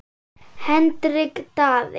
Hendrik Daði.